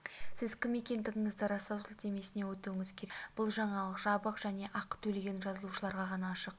сіз кім екендігіңізді растау сілтемесіне өтуіңіз керек бұл жаңалық жабық және ақы төлеген жазылушыларға ғана ашық